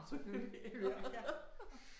Selvfølgelig ja ja